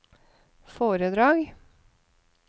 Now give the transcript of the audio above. foredrag